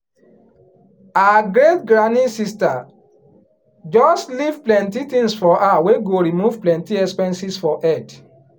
her great granny sister just leave plenty tins for her wey go remove plenty expenses for head.